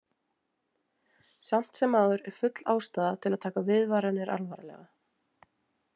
Samt sem áður er full ástæða til að taka viðvaranir alvarlega.